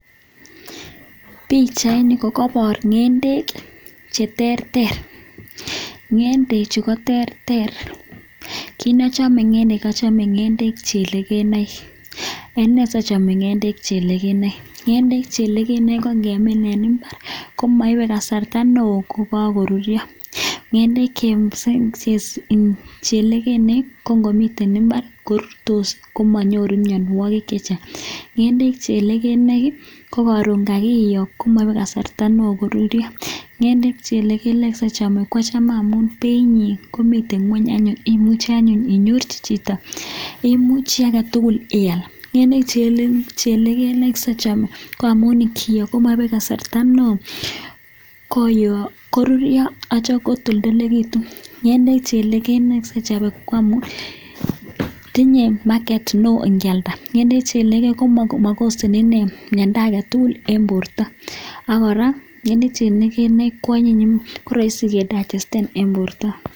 Bichait Ni kokabar ngendek cheterter ngendek Chu koterter kinachome ngendek koachome ngendek chelekenaik Ene sachome ngendek chelekenaik ngendek chelekenaik kemin en imbar komaibe kasarta neon kokakorurio ngengek chelekenaik komiten imbar korurtos komenyoru mianwagik chechang ngendek chelekenaik koron kakiyo komaibe kasarta neon korurio ngendek chelekenaik simachome kwachame amun Bei nyin komiten ngweny anyun inyorchi Chito imuche agetugul iyal ngendek chelekenaik simachome nngamun kiyoo komaibe kasarta neon koyo korurio kotoldolekitun ngendek chelekenaik simachome nngamun tinye maket neon ngealda ngendek chelekenaik. makoseni Miranda agetugul en borta Akira kwanyin akorahisi kedagesten